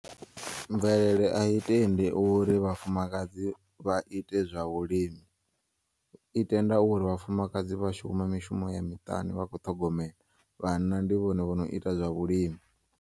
Mvelele ayi tendi uri vhafumakadzi vha ite zwa vhulimi, i tenda uri vhafumakadzi vhashuma mishumo ya miṱani vha kho ṱhogomela vhanna ndi vhone vhono ita zwa vhulimi.